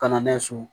Ka na n'a ye so